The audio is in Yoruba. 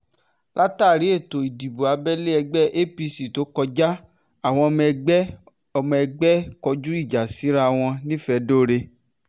látàrí ètò ìdìbò abẹ́lé ẹgbẹ́ apc tó kọjá àwọn ọmọ ẹgbẹ́ ọmọ ẹgbẹ́ kọjú ìjà síra wọn nifedore